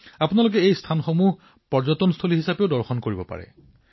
এক প্ৰকাৰে আপুনি এই বাৰটা স্থানৰ যাত্ৰা এক পৰ্যটন বৃত্তৰ ৰূপত প্ৰত্যক্ষ কৰিব পাৰে